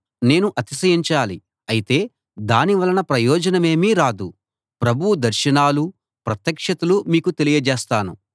నేను అతిశయించాలి అయితే దాని వలన ప్రయోజనమేమీ రాదు ప్రభువు దర్శనాలూ ప్రత్యక్షతలూ మీకు తెలియజేస్తాను